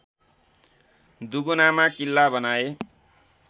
दुगुनामा किल्ला बनाए